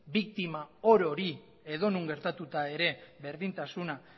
biktima orori edo non gertatuta ere berdintasuna